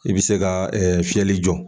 I bi se ka fiyɛli jɔ.